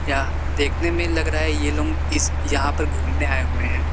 यह देखने में लग रहा है ये लोग इस यहां पर घूमने आए हुए हैं।